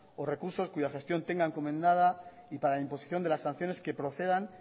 o recursos cuya gestión tenga encomendada y para la imposición de las sanciones que procedan